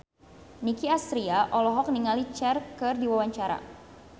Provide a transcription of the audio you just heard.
Nicky Astria olohok ningali Cher keur diwawancara